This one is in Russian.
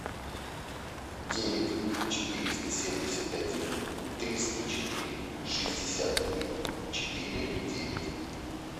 девять четыреста семьдесят один триста четыре шестьдесят три четыре девять